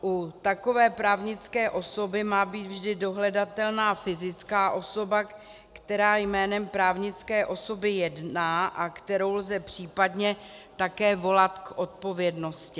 U takové právnické osoby má být vždy dohledatelná fyzická osoba, která jménem právnické osoby jedná a kterou lze případně také volat k odpovědnosti.